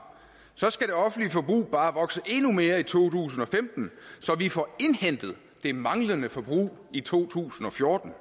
så skal det offentlige forbrug bare vokse endnu mere end i to tusind og femten så vi får indhentet det manglende forbrug i to tusind og fjorten